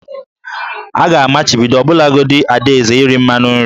A ga-amachibido ọbụlagodi Ada eze iri mmanụ nri